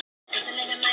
Öll af vilja gerð.